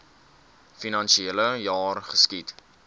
finansiele jaar geskied